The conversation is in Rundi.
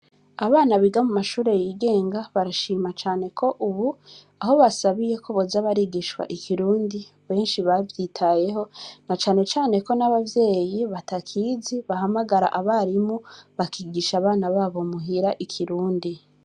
Abana biga mu mashure yigenga barashima cane ko, ubu aho basabiye ko boza abarigishwa ikirundi benshi bavyitayeho na canecane ko n'abavyeyi batakizi bahamagara abarimu bakigisha abana babo muhira ikirundi.